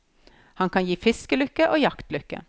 Han kan gi fiskelykke og jaktlykke.